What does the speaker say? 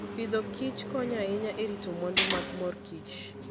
Agriculture and Foodkonyo ahinya e rito mwandu mag mor kich.